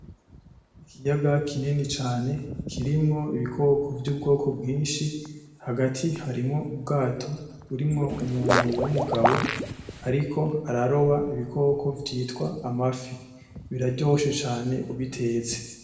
ikiyaga kinini cane kirimwo ibikoko vyubwoko bwinshi hagati harimwo ubwato burimwo umuntu w'umugabo ariko araroba ibikoko vyitwa amafi biraryoshe cane ubitetse